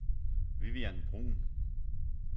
Vivian Bruhn